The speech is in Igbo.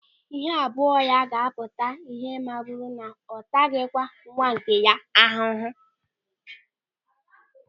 Ịhụ abụọ ya ga-apụta ihe maọbụrụ na ọ ataghịkwa nwa nke ya ahụhụ.